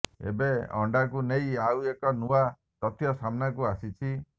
ଏବେ ଅଣ୍ଡାକୁ ନେଇ ଆଉ ଏକ ନୂଆ ତଥ୍ୟ ସାମ୍ନାକୁ ଆସିଛି